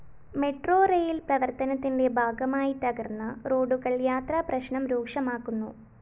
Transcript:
metro rail‍ പ്രവര്‍ത്തനത്തിന്റെ ഭാഗമായിത്തകര്‍ന്ന റോഡുകള്‍ യാത്രാപ്രശ്‌നം രൂക്ഷമാക്കുന്നു